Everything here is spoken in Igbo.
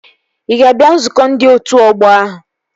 Ị ga-abịa nzukọ ndị otu ọgbọ ahụ?